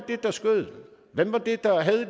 der skød hvem